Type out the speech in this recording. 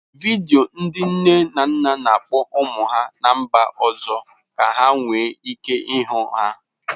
Vidio ndị nne na nna na-akpọ ụmụ ha ná mba ọzọ ka ha nwee ike ịhụ ha.